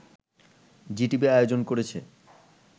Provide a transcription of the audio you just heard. Zee TV আয়োজন করেছে